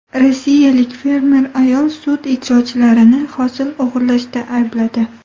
Rossiyalik fermer ayol sud ijrochilarini hosil o‘g‘irlashda aybladi.